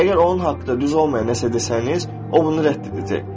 Əgər onun haqqında düz olmayan nəsə desəniz, o bunu rədd edəcək.